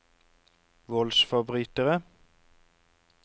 voldsforbrytere